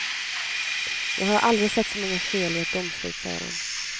Jag har aldrig sett så många fel i ett domslut, säger han.